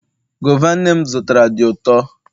guava nnem zụtara di uto